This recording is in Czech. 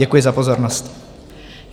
Děkuji za pozornost.